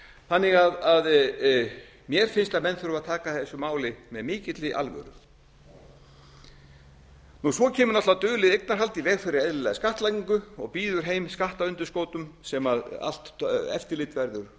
þannig að mér finnst að menn þurfi að taka þessu máli með mikill alvöru svo kemur náttúrlega dulið eignarhald í veg fyrir eðlilega skattlagningu og býður heim skattundanskotum sem allt eftirlit verður